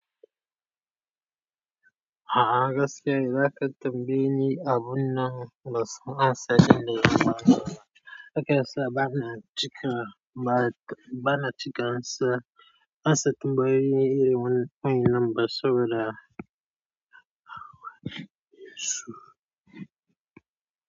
A'a gaskiya, za ka tambayi ni abun nan ya sunansa ji ne. Ban da haka, ban a cika, ba, bana cika ansa. Ansa tambayoyi iri wanne kwani lambar sau da ya.